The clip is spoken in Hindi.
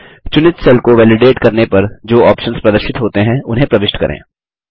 चुनित सेल को वैलिडेट करने पर जो ऑप्शन्स प्रदर्शित होते हैं उन्हें प्रविष्ट करें